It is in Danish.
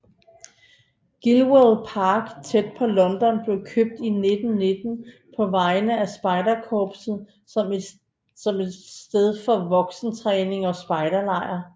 Gilwell Park tæt på London blev købt i 1919 på vegne af Spejderkorpset som et sted for voksentræning og spejderlejr